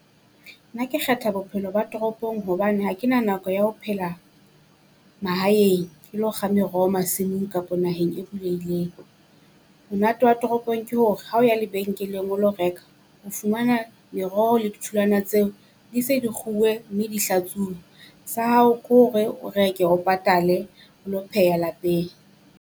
Nna ke kgetha bophelo ba toropong hobane ha ke na nako ya ho phela mahaeng ke lo kga meroho masimong kapa naheng e bulehileng. Monate wa toropong ke hore ha o ya lebenkeleng o lo reka, o fumana meroho le ditholwana tseo di se di kguwe mme di hlatsuwe. Sa hao ko re o reke o patale o lo pheha lapeng.